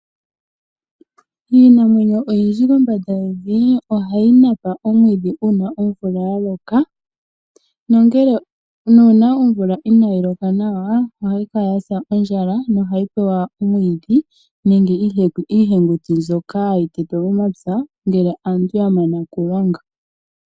Iinamwenyo oyindji kombanda yevi ohayi napa omwiidhi uuna omvula ya loka, nuuna omvula inaayi loka nawa ohayi kala ya sa ondjala nohayi pewa omwiidhi nenge iihenguti mbyoka hayi tetwa momapya ngele aantu ya mana okulonga.